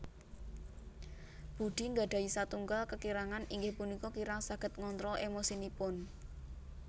Budi nggadhahi satunggal kekirangan inggih punika kirang saged ngontrol emosinipun